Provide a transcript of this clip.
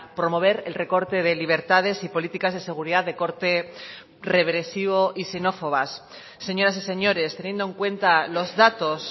promover el recorte de libertades y políticas de seguridad de corte regresivo y xenófobas señoras y señores teniendo en cuenta los datos